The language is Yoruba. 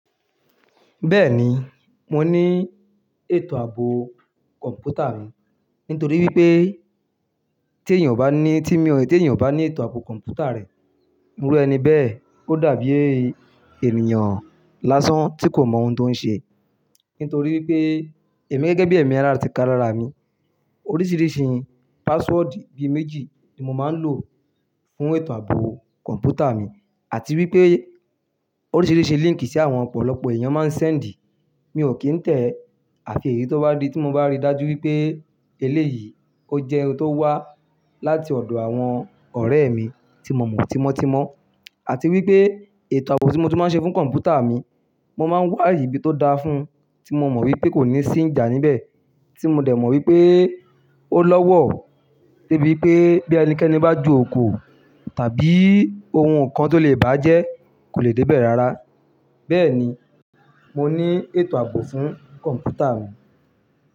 Bẹ́ẹ̀ni, mo ní ètò ààbò kọ̀ǹpútà mi. Nítorí wípé tí èèyàn bá ní, tí mi ò, tí èèyàn bá ní ètò ààbò kọ̀ǹpútà rẹ̀, irú ẹni bẹ́ẹ̀, ó dàbí è ènìyàn lásán tí kò mọ ohun tó ń ṣe. Nítorí wípé èmi gẹ́gẹ́ bí ẹ̀mí ara ti ká rára mi. Oríṣìíríṣìí password bí méjì ni mo máa ń lò fún ètò ààbò kọ̀ǹpútà mi. Àti wípé oríṣìíríṣìí link sí àwọn ọ̀pọ̀lọpọ̀ èèyàn máa ń send, mi ò kì í tẹ̀. Àfi èyí tó bá di tí mo bá rí dájú wípé eléyìí ó jẹ́ ohun tó wá láti ọ̀dọ̀ àwọn ọ̀rẹ́ mi tí mo mọ̀, tí mo ti mọ̀. Àti wípé ètò ààbò tí mo ti máa ń ṣe fún kọ̀ǹpútà mi, mo máa ń wà ìbí tó dáa fún, tí mo mọ̀ wípé kò ní sí ìjà níbẹ̀. Tí mo dẹ̀ mọ̀ wípé ó lọ́wọ́, dé bí pé bí ẹnikẹ́ni bá ju òkò tàbí ohun kan tó lè bá jẹ́ kò lè dé bẹ̀ rárá. Bẹ́ẹ̀ni, mo ní ètò ààbò fún kọ̀ǹpútà mi.